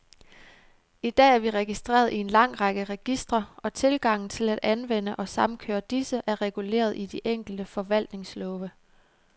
I dag er vi registreret i en lang række registre, og tilgangen til at anvende og samkøre disse, er reguleret i de enkelte forvaltningslove.